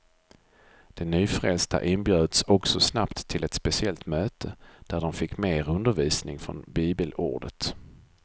De nyfrälsta inbjöds också snabbt till ett speciellt möte, där de fick mer undervisning från bibelordet.